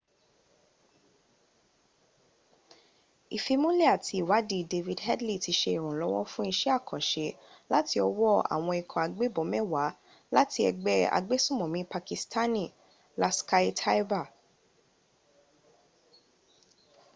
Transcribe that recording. ìfimúnlẹ̀ àti ìwadìí david headley ti se ìrànlọ́wọ́ fún isẹ́ àkànṣe láti ọwọ́ àwọn ikọ̀ agbẹ́bọn mẹwa láti ẹgbẹ́ agbẹ́sùmònmí pakistani laskhar-e-taiba